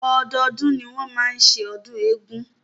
Ọdọọdún ni wọ́n máa ń ṣe ọdún eégún.